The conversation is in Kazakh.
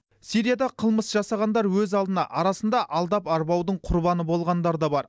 сирияда қылмыс жасағандар өз алдына арасында алдап арбаудың құрбаны болғандар да бар